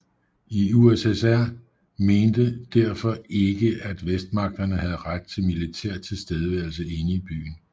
USSR mente derfor ikke at Vestmagterne havde ret til militær tilstedeværelse inde i byen